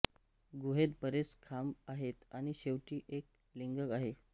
गुहेत बरेच खांब आहेत आणि शेवटी एक लिंगम आहे